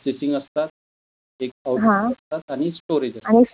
Chasing असतात, एक output असत्तात आणि स्टोरेज असतात.